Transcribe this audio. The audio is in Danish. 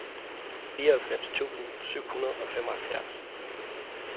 fireoghalvfems tusind syv hundrede og femoghalvfjerds